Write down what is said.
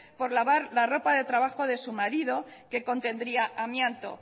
por lavar la roja de trabajo de su marido que contendría amianto